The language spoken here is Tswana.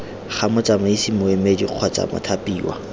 ga motsamaisi moemedi kgotsa mothapiwa